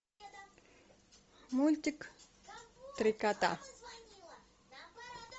мультик три кота